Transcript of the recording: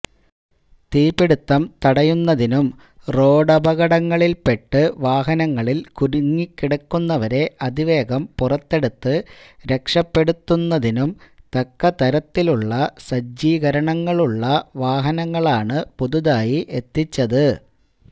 തീപ്പിടിത്തം തടയുന്നതിനും റോഡപകടങ്ങളില്പ്പെട്ട് വാഹനങ്ങളില് കുടുങ്ങിക്കിടക്കുന്നവരെ അതിവേഗം പുറത്തെടുത്ത് രക്ഷപ്പെടുത്തുന്നതിനും തക്ക തരത്തിലുള്ള സജ്ജീകരണങ്ങളുള്ള വാഹനങ്ങളാണ് പുതുതായി എത്തിച്ചത്